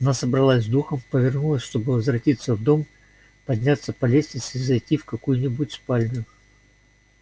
она собралась с духом и повернулась чтобы возвратиться в дом подняться по лестнице и зайти в какую-нибудь другую спальню